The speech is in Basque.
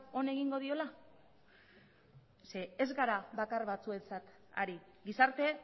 on egingo diola ze ez gara bakar batzuentzat ari gizarte